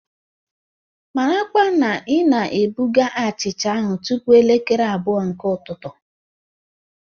Marakwa na ị na-ebuga achịcha ahụ tupu elekere abụọ nke ụtụtụ!